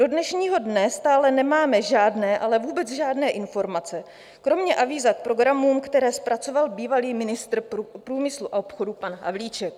Do dnešního dne stále nemáme žádné, ale vůbec žádné informace kromě avíza k programům, které zpracoval bývalý ministr průmyslu a obchodu pan Havlíček.